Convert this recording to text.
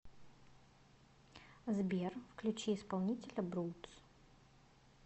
сбер включи исполнителя брудс